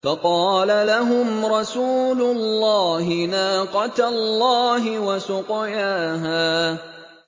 فَقَالَ لَهُمْ رَسُولُ اللَّهِ نَاقَةَ اللَّهِ وَسُقْيَاهَا